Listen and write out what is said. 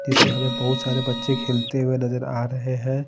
इसमें हमे बहुत सारे बच्चे खेलते हुए नज़र आ रहे हैं।